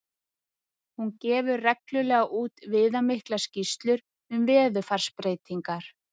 Hún gefur reglulega út viðamiklar skýrslur um veðurfarsbreytingar.